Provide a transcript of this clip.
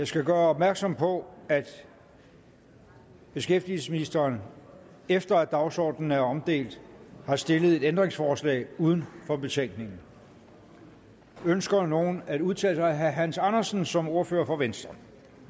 skal gøre opmærksom på at beskæftigelsesministeren efter at dagsordenen er blevet omdelt har stillet et ændringsforslag uden for betænkningen ønsker nogen at udtale sig herre hans andersen som ordfører for venstre